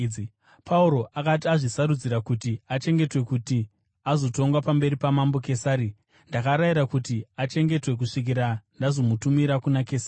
Pauro akati azvisarudzira kuti achengetwe kuti azotongwa pamberi paMambo Kesari, ndakarayira kuti achengetwe kusvikira ndazomutumira kuna Kesari.”